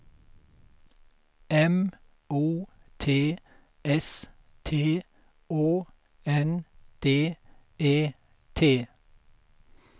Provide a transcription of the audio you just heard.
M O T S T Å N D E T